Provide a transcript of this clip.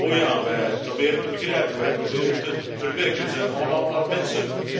Oh ja, wij proberen te begrijpen, wij proberen te verwerken, we zijn allemaal maar mensen.